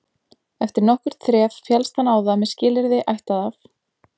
Eftir nokkurt þref féllst hann á það með skilyrði ættað af